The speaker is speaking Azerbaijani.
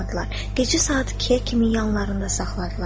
Gecə saat 2-yə kimi yanlarında saxladılar.